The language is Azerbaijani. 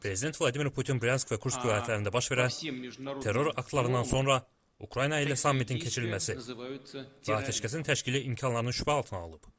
Prezident Vladimir Putin Bryansk və Kursk vilayətlərində baş verən terror aktlarından sonra Ukrayna ilə sammitin keçirilməsi və atəşkəsin təşkili imkanlarını şübhə altına alıb.